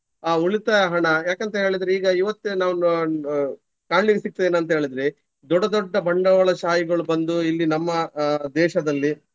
ಆ ಉಳಿತಾಯ ಹಣ ಯಾಕಂತ ಹೇಳಿದ್ರೆ ಈಗ ಇವತ್ತೇ ನಾವು ಅಹ್ ಅಹ್ ಕಾಣ್ಲಿಕ್ಕೆ ಸಿಗ್ತದೆ ಏನಂತ ಹೇಳಿದ್ರೆ ದೊಡ್ಡ ದೊಡ್ಡ ಬಂಡವಾಳ ಶಾಹಿಗಳು ಬಂದು ಇಲ್ಲಿ ನಮ್ಮ ಅಹ್ ದೇಶದಲ್ಲಿ